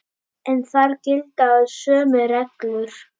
En þar gilda sömu reglur.